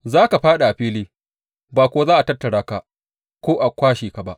Za ka fāɗi a fili ba kuwa za a tattara ka ko a kwashe ba.